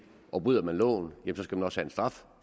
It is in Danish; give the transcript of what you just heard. og bryder man loven skal man også have en straf